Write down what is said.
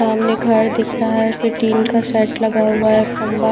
सामने घर दिख रहा है उस पे टीन का सेट लगा हुआ है खंबा--